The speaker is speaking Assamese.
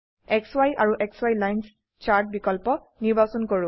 সি আৰু সি লাইন্স চাৰ্ট বিকল্প নিৰ্বাচন কৰো